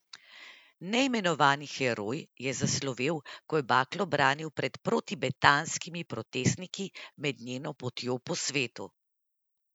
Neimenovani heroj je zaslovel, ko je baklo branil pred protibetanskimi protestniki med njeno potjo po svetu.